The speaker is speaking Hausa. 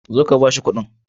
Zo ka ba shi kuɗin.